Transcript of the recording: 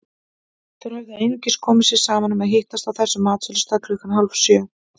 Þeir höfðu einungis komið sér saman um að hittast á þessum matsölustað klukkan hálfsjö.